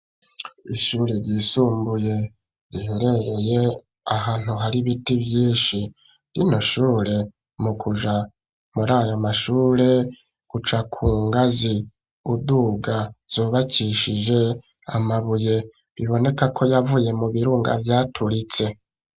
Ishure ryisumbuye riherereye ahantu hari biti vyinshi rino shure mu kuja muri ayo mashure uca kungazi uduga zubakishije amabuye biboneka ko yavuye mu birunga vyaturitse.